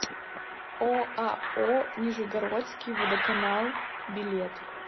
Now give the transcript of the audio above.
оао нижегородский водоканал билет